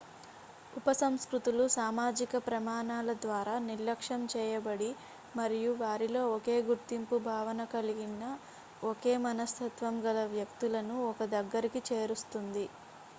ఉప సంస్కృతులు సామాజిక ప్రమాణాల ద్వారా నిర్లక్ష్యం చేయబడి మరియు వారిలో ఒకే గుర్తింపు భావన కలిగిన ఒకే మనస్తత్వం గల వ్యక్తులను ఒక దగ్గరికి చేరుస్తుంది